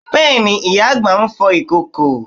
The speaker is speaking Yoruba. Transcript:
Bẹ́ẹ̀ni, ìyá àgbà ń fọ ìkòkò